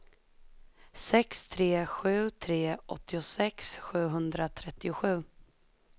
sex tre sju tre åttiosex sjuhundratrettiosju